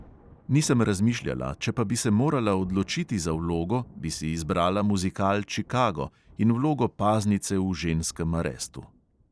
Nisem razmišljala, če pa bi se morala odločiti za vlogo, bi si izbrala muzikal čikago in vlogo paznice v ženskem arestu.